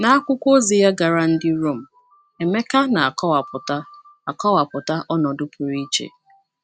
N’akwụkwọ ozi ya gara ndị Rom, Emeka na - akọwapụta akọwapụta ọnọdụ pụrụ iche.